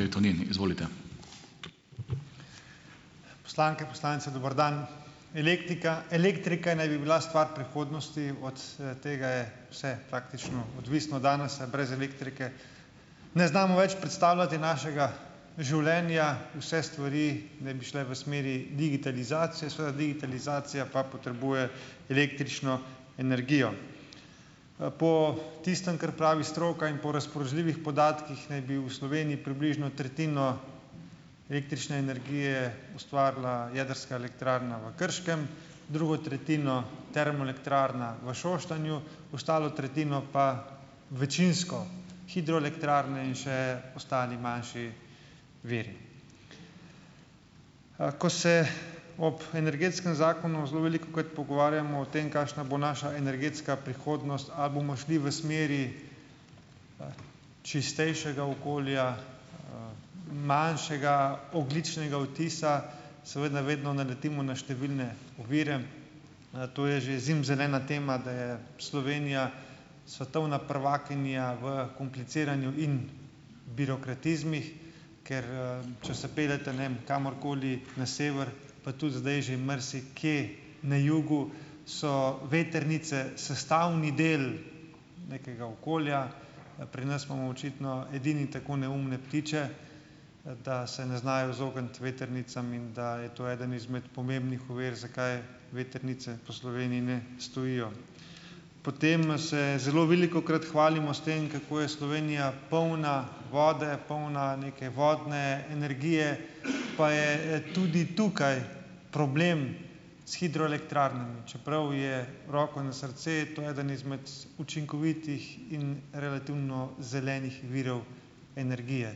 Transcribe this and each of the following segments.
tej Tonin, izvolite. Poslanke, poslanci, dober dan. Elektika, elektrika naj bi bila stvar prihodnosti, od s tega je vse praktično odvisno od danes, brez elektrike ne znamo več predstavljati našega življenja, vse stvari naj bi šle v smeri digitalizacije, svoja digitalizacija pa potrebuje električno energijo, po tistem, kar pravi stroka in po razpoložljivih podatkih, naj bi v Sloveniji približno tretjino električne energije ustvarila jedrska elektrarna v Krškem, drugo tretjino termoelektrarna v Šoštanju, ostalo tretjino pa večinsko hidroelektrarne in še ostali manjši viri, ko se ob energetskem zakonu zelo velik, kajti pogovarjamo o tem, kakšna bo naša energetska prihodnost, ali bomo šli v smeri čistejšega okolja, manjšega ogljičnega odtisa, seveda vedno naletimo na številne ovire, to je že zimzelena tema, da je Slovenija svetovna prvakinja v kompliciranju in birokratizmih, kar, če se peljete, ne vem, kamorkoli na sever, pa tudi zdaj že marsikje na jugu, so vetrnice sestavni del nekega okolja, pri nas imamo očitno edini tako neumne ptiče, da se ne znajo izogniti vetrnicam in da je to ena izmed pomembnih ovir, zakaj je vetrnice po Sloveniji ne stojijo, potem se zelo velikokrat hvalimo s tem, kako je Slovenija polna vode, polna neke vodne energije, pa je tudi tukaj problem s hidroelektrarnami, čeprav je roko na srce to eden izmed učinkovitih in relativno zelenih virov energije,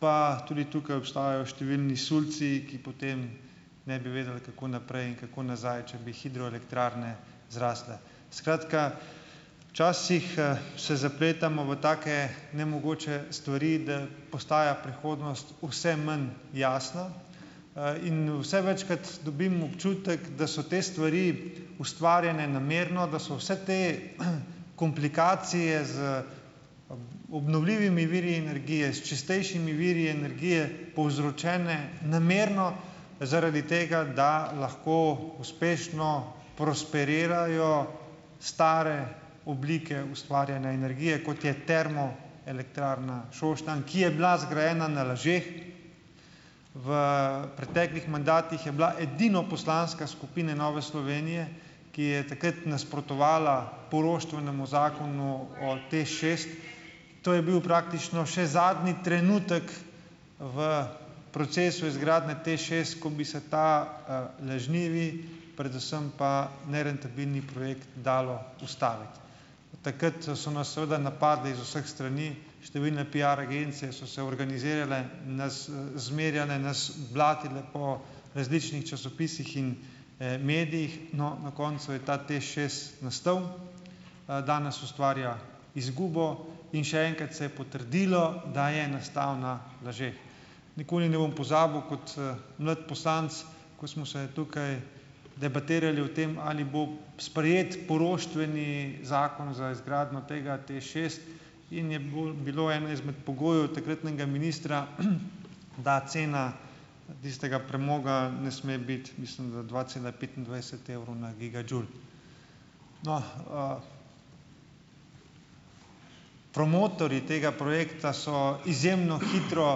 pa tudi tukaj obstajajo številni sulci, ki potem ne bi vedeli, kako naprej in kako nazaj, če bi hidroelektrarne zrasle, skratka, včasih se zapletamo v take nemogoče stvari, da postaja prihodnost vse manj jasna, in vse večkrat dobim občutek, da so te stvari ustvarjene namerno, da so vse te komplikacije z obnovljivimi viri energije, s čistejšimi viri energije povzročene namerno zaradi tega, da lahko uspešno prosperirajo stare oblike ustvarjene energije kot, je termo- elektrarna Šoštanj, ki je bila zgrajena na lažeh, v preteklih mandatih je bila edino poslanska skupina Nove Slovenije, ki je takrat nasprotovala poroštvenemu zakonu o TEŠ šest, to je bil praktično še zadnji trenutek v procesu izgradnje TEŠ šest, ko bi se ta, lažnivi, predvsem pa nerentabilni projekt dalo ustaviti, takrat so nas seveda napadli iz vseh strani, številne piar agencije so se organizirale, nas zmerjale, nas blatile po različnih časopisih in, medijih, no, na koncu je ta TEŠ šest nastal, danes ustvarja izgubo in še enkrat se je potrdilo, da je nastal na lažeh, nikoli ne bom pozabil kot, mlad poslanec, ko smo se tukaj debatirali o tem, ali bo sprejet poroštveni zakon za izgradnjo tega TEŠ šest in je bilo eno izmed pogojev takratnega ministra, da cena tistega premoga ne sme biti, mislim, da dva cela petindvajset evrov na gigadžul, no, promotorji tega projekta so izjemno hitro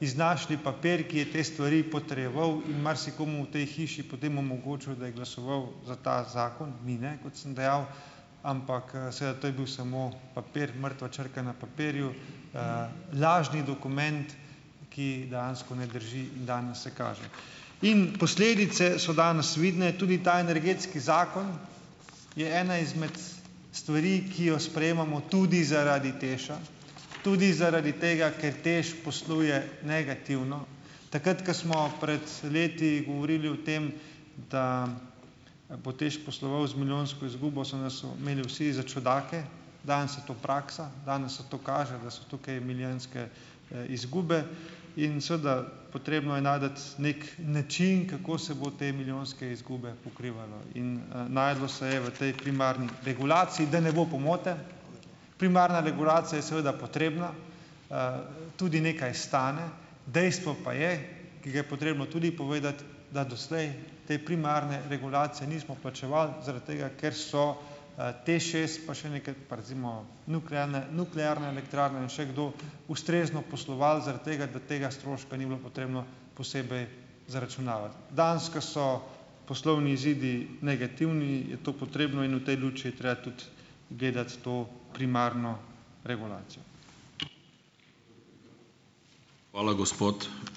iznašli papir, ki je te stvari potrjeval, in marsikomu v tej hiši potem omogočil, da je glasoval za ta zakon, mi ne, kot sem dejal, ampak, seveda to je bil samo papir, mrtva črka na papirju, lažni dokument, ki dejansko ne drži, in danes se kaže in posledice so danes vidne, tudi ta energetski zakon je ena izmed stvari, ki jo sprejemamo tudi zaradi TEŠ-a, tudi zaradi tega ker TEŠ posluje negativno, takrat ko smo pred leti govorili o tem, da bo TEŠ posloval z milijonsko izgubo, so nas imeli vsi za čudake, danes je to praksa, danes se to kaže, da so tukaj milijonske, izgube in seveda potrebno je najti neki način, kako se bo te milijonske izgube pokrivalo in, našlo se je v tej primarni regulaciji, da ne bo pomote, primarna regulacija je seveda potrebna, tudi nekaj stane, dejstvo pa je, ki ga je potrebno tudi povedati, da doslej te primarne regulacije nismo plačevali zaradi tega, ker so, TEŠ šest pa še nekaj pa recimo nuklealna nuklearna elektrarna in še kdo ustrezno posloval zaradi tega, da tega stroška ni bilo potrebno posebej zaračunavati, danes, ko so poslovni izidi negativni, je to potrebno in v tej luči je treba tudi gledati to primarno regulacijo. Hvala, gospod ...